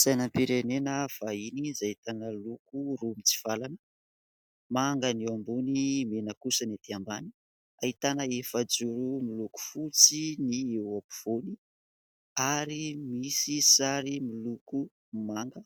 Sainam-pirenena vahiny izay ahitana loko roa mitsivalana : manga ny eo ambony, mena kosa ny aty ambany. Ahitana efa-joro miloko fotsy ny eo ampovoany ary misy sary miloko manga,